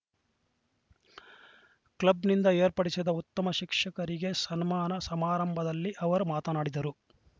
ಕ್ಲಬ್‌ನಿಂದ ಏರ್ಪಡಿಸಿದ್ದ ಉತ್ತಮ ಶಿಕ್ಷಕಿಯರಿಗೆ ಸನ್ಮಾನ ಸಮಾರಂಭದಲ್ಲಿ ಅವರ ಮಾತನಾಡಿದರು